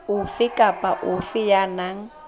ofe kapa ofe ya nang